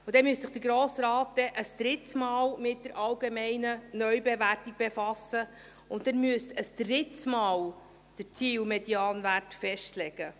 Denn dann müsste sich der Grosse Rat ein drittes Mal mit der allgemeinen Neubewertung befassen, und dann müssten Sie ein drittes Mal den Zielmedianwert festlegen.